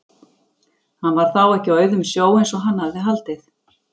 Hann var þá ekki á auðum sjó eins og hann hafði haldið!